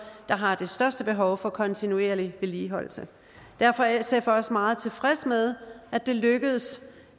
der har det største behov for kontinuerlig vedligeholdelse derfor er sf også meget tilfreds med at det lykkedes